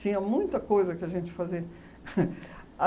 Tinha muita coisa que a gente fazia.